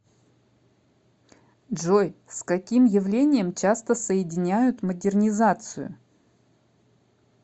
джой с каким явлением часто соединяют модернизацию